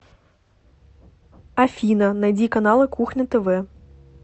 афина найди каналы кухня тв